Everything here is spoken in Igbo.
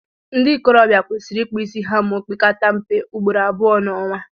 ndị ikorobia kwesịrị ịkpụ isi ha ma ọ pekata mpe ugboro abụọ n'ọnwa